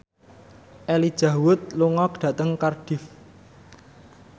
Elijah Wood lunga dhateng Cardiff